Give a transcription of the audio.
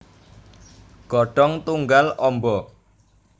Godhong tunggal amba